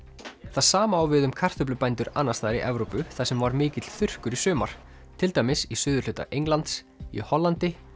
það sama á við um kartöflubændur annars staðar í Evrópu þar sem var mikill þurrkur í sumar til dæmis í suðurhluta Englands í Hollandi